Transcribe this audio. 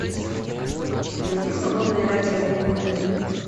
найди свободное радио альбемута